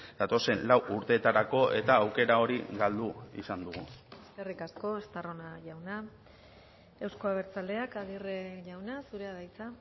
datozen lau urteetarako eta aukera hori galdu izan dugu eskerrik asko estarrona jauna euzko abertzaleak aguirre jauna zurea da hitza